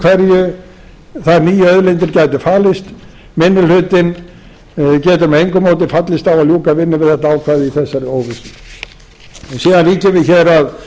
hverju þær nýju auðlindir gætu falist minni hlutinn getur með engu móti fallist á að ljúka vinnu við þetta ákvæði í þessari óvissu síðan víkjum við hér að